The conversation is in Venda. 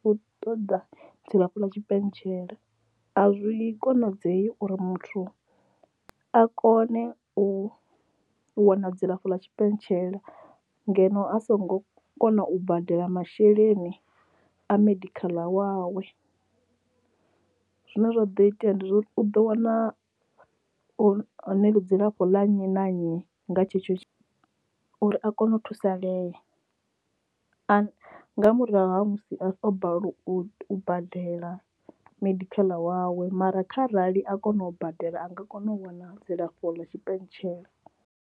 khou ṱoda dzilafho ḽa tshipentshele a zwi konadzei uri muthu a kone u wana dzilafho ḽa tshipentshela ngeno a songo kona u badela masheleni a medical aid wawe zwino zwa do itea ndi zwa uri u ḓo wana dzilafho ḽa nnyi na nnyi nga tshetsho uri a kone u thusalea nga murahu ha musi o balelwa u badela medical wawe mara kha rali a kona u badela a nga kona u wana dzilafho ḽa tshipentshela.